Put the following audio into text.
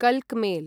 कल्क mail